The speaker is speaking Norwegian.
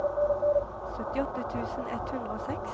syttiåtte tusen ett hundre og seks